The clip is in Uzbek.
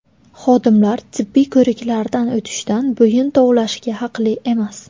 Xodimlar tibbiy ko‘riklardan o‘tishdan bo‘yin tovlashga haqli emas.